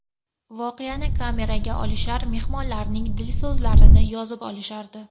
Voqeani kameraga olishar, mehmonlarning dil so‘zlarini yozib olishardi.